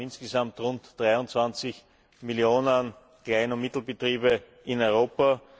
Wir haben insgesamt rund 23 Millionen Klein und Mittelbetriebe in Europa.